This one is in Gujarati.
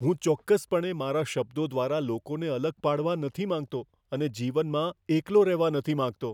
હું ચોક્કસપણે મારા શબ્દો દ્વારા લોકોને અલગ પાડવા નથી માગતો અને જીવનમાં એકલો રહેવા નથી માગતો.